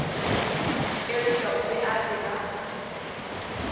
eupša o be a tseba